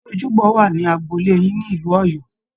Ṣé ojúbọ wà ní agbolé yín ní ìlú Ọ̀yọ́